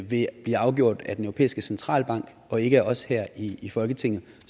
vil blive afgjort af den europæiske centralbank og ikke af os her i i folketinget